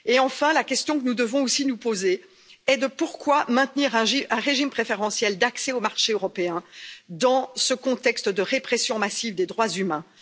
Et enfin, la question que nous devons aussi nous poser est celle ci pourquoi maintenir un régime préférentiel d'accès au marché européen dans ce contexte de répression massive des droits humains?